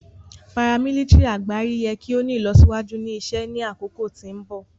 paramilitary agbari yẹ ki o ni ilọsiwaju ni isẹ ni akoko ti mbọ.